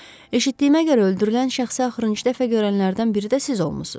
Eşitdiyimə görə, öldürülən şəxsi axırıncı dəfə görənlərdən biri də siz olmusunuz.